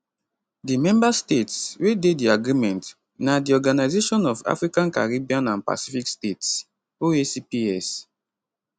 di member states wey dey di agreement na di organisation of african caribbean and pacific states oacps